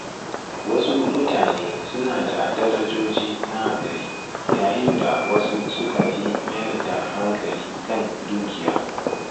Wasu mutane suna da darajoji na gari, yayin da wasu suka fi mayar da hankali kan dukiya.